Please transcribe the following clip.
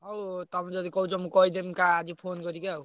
ହଉ ହଉ ତମେ ଯଦି କହୁଛ ମୁଁ କହିଦେବି ତ ଆଜି phone କରିକି ଆଉ।